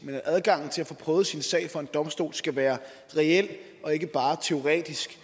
men at adgangen til at få prøvet sin sag for en domstol skal være reel og ikke bare teoretisk